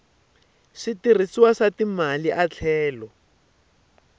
switirhisiwa swa timali a tlhela